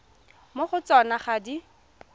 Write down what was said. mo go tsona ga di